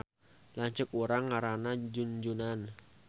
Lanceuk urang ngaranna Junjunan